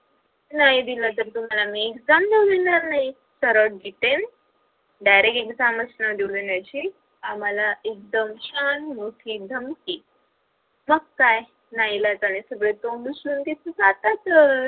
नाही दिलं त तुम्हाला मी exam देऊ देणार नाही सर्व detail direct exam च न देउ देण्याची आम्हाला छान मोठी धमकी मग काय नाईलाजाने सगरे तिथ तोंड उचलून जातातच